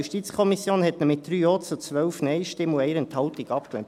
Die JuKo hat ihn mit 3 Ja- zu 12 Nein-Stimmen und 1 Enthaltung abgelehnt.